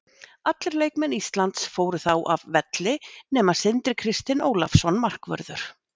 Allir leikmenn Íslands fóru þá af velli nema Sindri Kristinn Ólafsson markvörður.